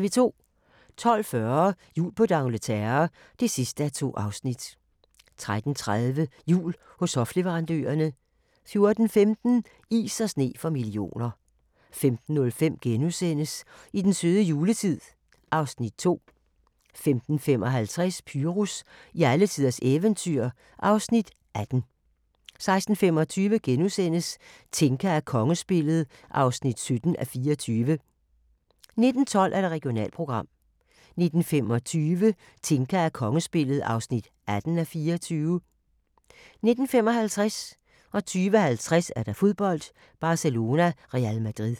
12:40: Jul på d'Angleterre (2:2) 13:30: Jul hos hofleverandørerne 14:15: Is og sne for millioner 15:05: I den søde juletid (Afs. 2)* 15:55: Pyrus i alletiders eventyr (Afs. 18) 16:25: Tinka og kongespillet (17:24)* 19:12: Regionalprogram 19:25: Tinka og kongespillet (18:24) 19:55: Fodbold: Barcelona-Real Madrid 20:50: Fodbold: Barcelona-Real Madrid